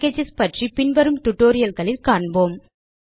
packages பற்றி பின்வரும் tutorialகளில் காண்போம்